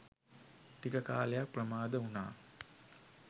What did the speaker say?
ටික කාලයක් ප්‍රමාද වුනා.